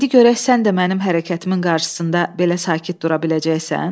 İndi görək sən də mənim hərəkətimin qarşısında belə sakit dura biləcəksən?